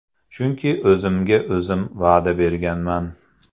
Chunki o‘zimga-o‘zim va’da berganman.